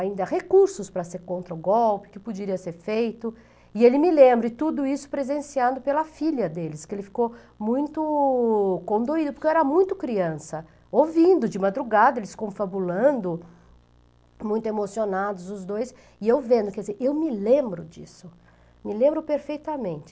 ainda recursos para ser contra o golpe, que poderia ser feito, e ele me lembra, e tudo isso presenciado pela filha deles, que ele ficou muito condoído, porque eu era muito criança, ouvindo de madrugada, eles confabulando, muito emocionados os dois, e eu vendo, quer dizer, eu me lembro disso, me lembro perfeitamente.